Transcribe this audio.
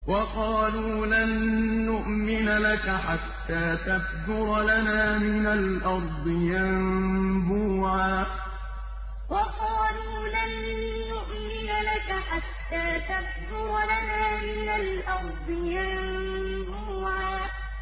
وَقَالُوا لَن نُّؤْمِنَ لَكَ حَتَّىٰ تَفْجُرَ لَنَا مِنَ الْأَرْضِ يَنبُوعًا وَقَالُوا لَن نُّؤْمِنَ لَكَ حَتَّىٰ تَفْجُرَ لَنَا مِنَ الْأَرْضِ يَنبُوعًا